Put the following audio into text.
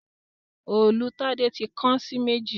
Òòlù Tade tí kán sí méjì